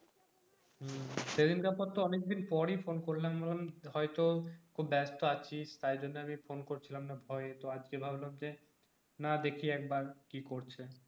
সেদিনকার পর তো অনেকদিন পরে phone করলাম হয়তো খুব ব্যাস্ত আছিস তাইজন্য আমি phone করছিলামনা ভয়ে তো আজকে ভাবলাম যে না দেখি একবার কি করছে